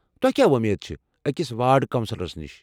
تۄہہِ كیاہ وۄمید چھےٚ أکس وارڈ کونسلرس نش؟